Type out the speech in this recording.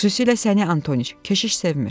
Xüsusilə səni Antonıç, keşiş sevmir.